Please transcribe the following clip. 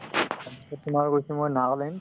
তাৰপিছত তোমাৰ গৈছো মই নাগালেণ্ড